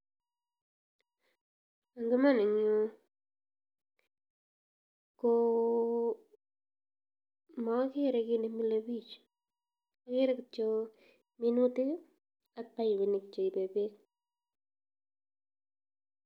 Eng iman eng yu komagere kiit nemile biich, ageere kityo minutik ak paipinik cheipe beek.